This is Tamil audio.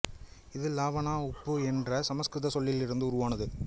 இது லாவனா உப்பு என்ற சமசுகிருத சொல்லில் இருந்து உருவானது